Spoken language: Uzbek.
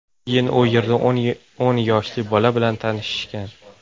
Keyin u yerda o‘n yoshli bola bilan tanishishgan.